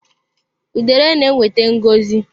Udere na-ewete ngọzi.